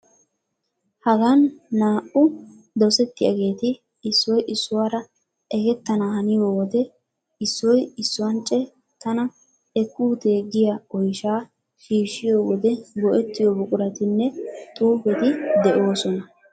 Hagan naa"u dosettiyageeti issoy issuwara ekettana haniyo wode issoy issuance tana ekkuutee giya oyshaa shiishshiyo wode go"ettiyo buquratinne xuufeti de'oosona.